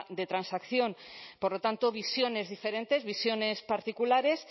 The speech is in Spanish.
de transacción por lo tanto visiones diferentes visiones particulares